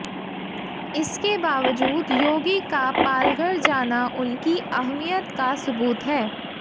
इसके बावजूद योगी का पालघर जाना उनकी अहमियत का सुबूत है